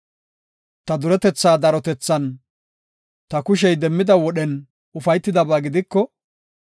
Ta duretetha darotethan, ta kushey demmida wodhen ufaytidaba gidiko,